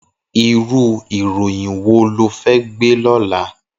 Irú iróyìn wó ló fè gbé lòlá?